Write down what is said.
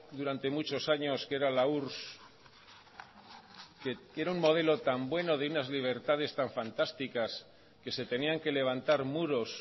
durante muchos años que era la urss que era un modelo tan bueno de unas libertades tan fantásticas que se tenían que levantar muros